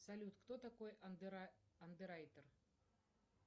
салют кто такой андеррайтер